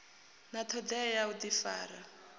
na thodea ya u difara